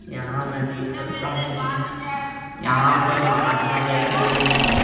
यहां मैं देख सकता हूं कि यहां पर महात्मा बैठे हुए हैं।